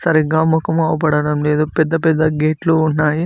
సరిగ్గా ముఖం కనబడటం లేదు పెద్ద పెద్ద గేట్లు ఉన్నాయి.